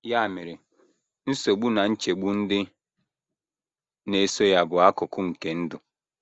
Ya mere, nsogbu na nchegbu ndị na - eso ya bụ akụkụ nke ndụ.